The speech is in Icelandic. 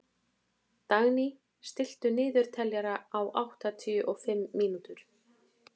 Dagný, stilltu niðurteljara á áttatíu og fimm mínútur.